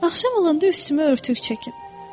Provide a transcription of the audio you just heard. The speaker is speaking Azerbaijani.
Axşam olanda üstümə örtük çəkin.